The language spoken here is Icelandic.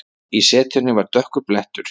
Í setunni var dökkur blettur.